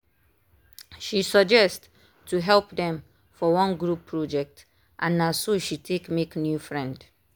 she suggest to help dem for one group project and na so she take make new friend.